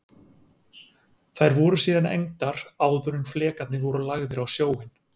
Þær voru síðan egndar áður en flekarnir voru lagðir á sjóinn.